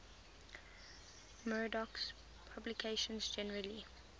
murdoch's publications generally